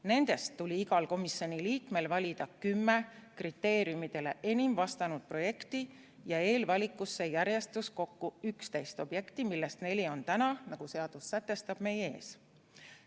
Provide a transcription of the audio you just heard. Nendest tuli igal komisjoni liikmel valida 10 kriteeriumidele enim vastanud projekti ja eelvalikusse järjestus kokku 11 objekti, millest neli on täna, nagu seadus sätestab, meie ees.